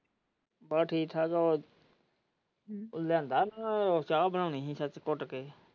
ਬਸ ਠੀਕ ਠਾਕ ਹੈ ਉਹ ਲਿਆਉਂਦਾ ਚਾਹ ਬਨਾਉਣੀ ਸੀ ਸੱਚ ਕੁੱਟ ਕੇ।